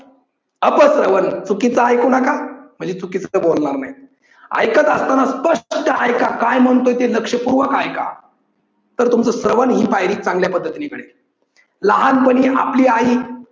अपश्रवन चुकीचं ऐकू नका म्हणजे चुकीचं बोलणार नाही. ऐकत असताना स्पष्टचे ऐका. काय म्हणतेय ते लक्षपूर्वक ऐका, तर तुमचं श्रवन ही पायरी चांगल्या पद्धतीने कळेल. लहानपणी आपली आई